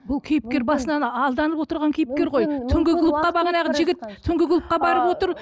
бұл кейіпкер басынан алданып отырған кейіпкер ғой түнгі клубқа бағанағы жігіт түнгі клубқа барып отыр